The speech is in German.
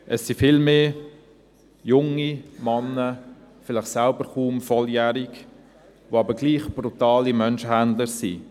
Es sind vielmehr junge Männer, vielleicht selbst kaum volljährig, die aber trotzdem brutale Menschenhändler sind.